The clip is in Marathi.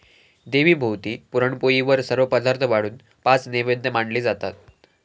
देवीभोवती पुराणपोळीवर सर्व पदार्थ वाढून पाच नैवेद्य मांडले जातात.